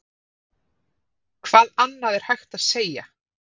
Hvað annað er hægt að segja?